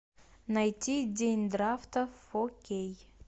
найти день драфта фо кей